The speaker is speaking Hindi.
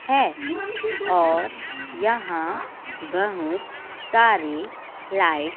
हैं और यहां बहु सारी लाइट --